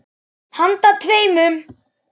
Handa tveimur